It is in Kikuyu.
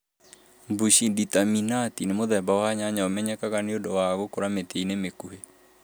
Mbushi nditaminati nĩ mũthemba wa nyanya ũmenyekaga nĩ ũndũ wa gũkũra mĩtĩ-inĩ mĩkuhĩ.